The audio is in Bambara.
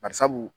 Barisabu